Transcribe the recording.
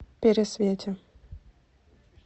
пересвете